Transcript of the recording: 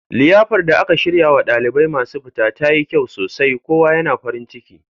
Liyafar da aka shiryarwa ɗalibai masu fita tayi kyau sosai kowa yana farin ciki